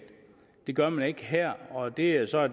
det gør man ikke her og det er så